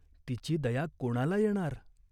तिची दया कोणाला येणार?